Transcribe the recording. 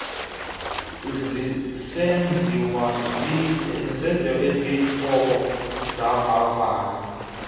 zisenziwa izixhobo zovavanyo